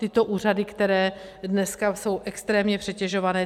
Tyto úřady, které dneska jsou extrémně přetěžované.